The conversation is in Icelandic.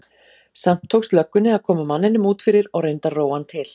Samt tókst löggunni að koma manninum út fyrir og reyndi að róa hann til.